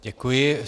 Děkuji.